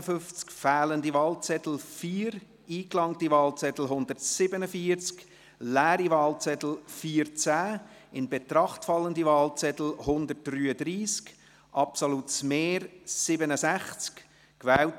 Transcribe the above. Bei 151 ausgeteilten und 147 eingegangenen Wahlzetteln, wovon leer 14 und ungültig 0, in Betracht fallend 133 wird bei einem absoluten Mehr von 67 gewählt: